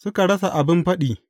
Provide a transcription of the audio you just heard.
Suka rasa abin faɗi.